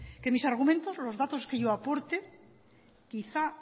que mis argumentos los datos que yo aporte quizá